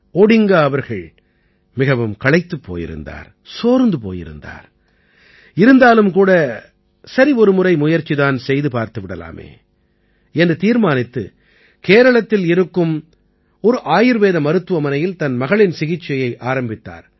Odinga அவர்கள் மிகவும் களைத்திருந்தார் சோர்ந்து போயிருந்தார் இருந்தாலும் கூட சரி ஒரு முறை முயற்சி தான் செய்து பார்த்து விடலாமே என்று தீர்மானித்து கேரளத்தில் இருக்கும் ஒரு ஆயுர்வேத மருத்துவமனையில் தன் மகளின் சிகிச்சையை ஆரம்பித்தார்